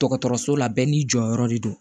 Dɔgɔtɔrɔso la bɛɛ n'i jɔyɔrɔ de don